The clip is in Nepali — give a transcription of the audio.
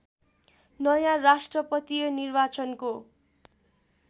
नयाँ राष्ट्रपतीय निर्वाचनको